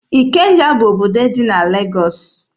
Ikeja bụ obodo dị na Legọọsị.